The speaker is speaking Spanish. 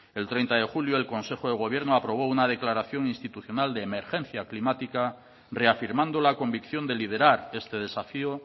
el treinta de julio el consejo de gobierno aprobó una declaración institucional de emergencia climática reafirmando la convicción de liderar este desafío